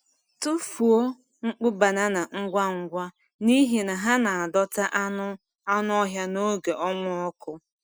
Tụfuo nkpụ banana ngwa ngwa, n’ihi na ha na-adọta anụ anụ ọhịa n’oge ọnwa ọkụ.